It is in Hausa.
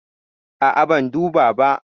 A'a, ban duba ba.